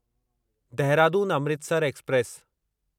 Dehradun Amritsar express